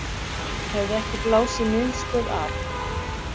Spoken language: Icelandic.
Hefði ekki blásið miðstöð af